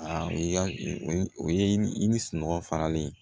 o ye i ni sunɔgɔ faralen ye